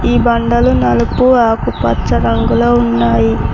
ఈ బండలు నలుపు ఆకుపచ్చ రంగులో ఉన్నాయి.